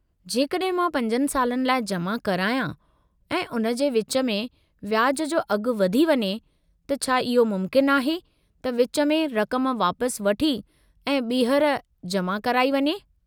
जेकॾहिं मां 5 सालनि लाइ जमा करायां, ऐं उन जे विचु में व्याजु जो अघु वधी वञे, त छा इहो मुमकिनु आहे त विचु में रक़म वापसि वठी ऐं ॿीहर जमा कराई वञे।